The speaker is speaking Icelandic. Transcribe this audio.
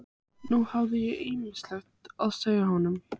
Nú hafði ég ýmislegt að segja honum.